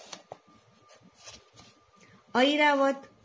Airavat